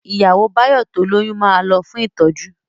Ìyàwó Báyọ̀ tó lóyún ma lọ fún ìtọ́jú